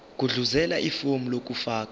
gudluzela ifomu lokufaka